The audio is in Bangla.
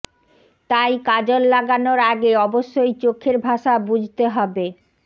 তাই কাজল লাগানোর আগে অবশ্যই চোখের ভাষা বুঝতে হবে